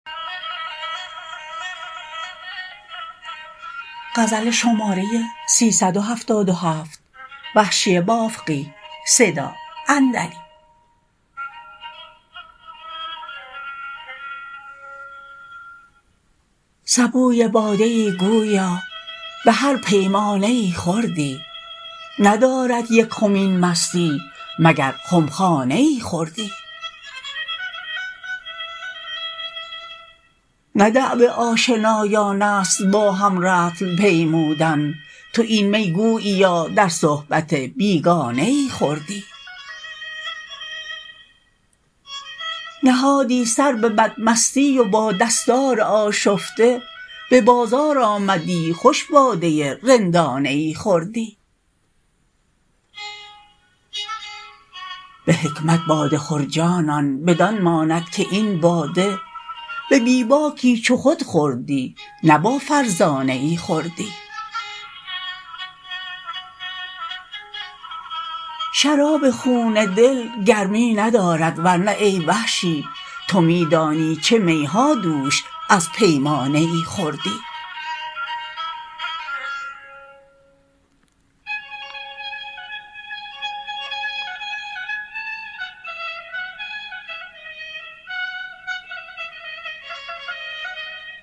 سبوی باده ای گویا به هر پیمانه ای خوردی ندارد یک خم این مستی مگر خمخانه ای خوردی نه دأب آشنایانست با هم رطل پیمودن تو این می گوییا در صحبت بیگانه ای خوردی نهادی سر به بد مستی و با دستار آشفته به بازار آمدی خوش باده رندانه ای خوردی به حکمت باده خور جانان بدان ماند که این باده به بی باکی چو خود خوردی نه با فرزانه ای خوردی شراب خون دل گرمی ندارد ورنه ای وحشی تو می دانی چه می ها دوش از پیمانه ای خوردی